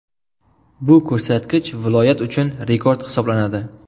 Bu ko‘rsatkich viloyat uchun rekord hisoblanadi.